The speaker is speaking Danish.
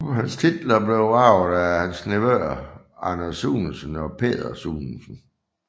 Hans titler blev arvet af hans nevøer Anders Sunesen og Peder Sunesen